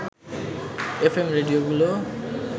F M রেডিওগুলো